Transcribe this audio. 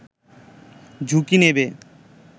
ঝুঁকি নেবে